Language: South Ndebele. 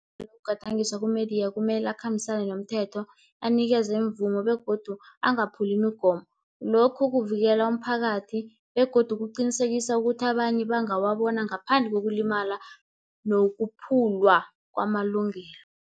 yokugadangiswa kumediya kumele akhambisane nomthetho anikezwe imvumo begodu angaphuli imigomo. Lokhu kuvikela umphakathi begodu kuqinisekisa ukuthi abanye bangawabona ngaphandle kokulimala nokuphulwa kwamalungelo.